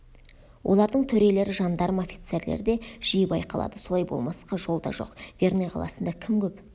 олардың төрелері жандарм офицерлері де жиі байқалады солай болмасқа жол да жоқ верный қаласында кім көп